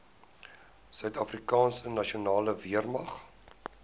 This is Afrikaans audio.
suidafrikaanse nasionale weermag